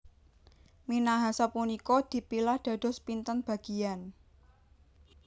Minahasa punika dipilah dados pinten bagian